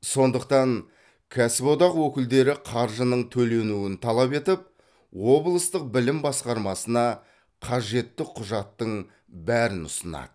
сондықтан кәсіподақ өкілдері қаржының төленуін талап етіп облыстық білім басқармасына қажетті құжаттың бәрін ұсынады